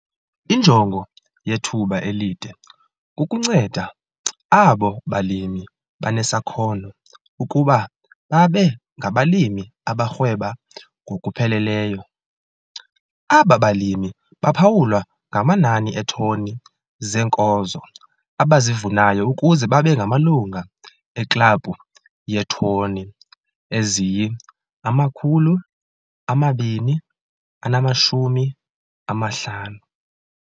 Injongo yethuba elide kukunceda abo balimi banesakhono ukuba babe ngabalimi abarhweba ngokupheleleyo. Aba balimi baphawulwa ngamanani eetoni zeenkozo abazivunayo ukuze babe 'ngamaLungu eKlabhu yeeToni eziyi-250'.